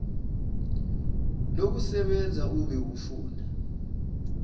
lokusebenza ube ufunda